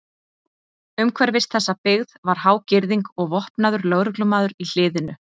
Umhverfis þessa byggð var há girðing og vopnaður lögreglumaður í hliðinu.